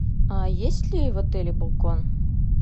есть ли в отеле балкон